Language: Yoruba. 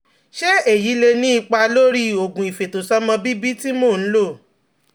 Ṣé èyí lè ní ipa lórí oògùn ìfètòsọ́mọbíbí tí mò ń lò?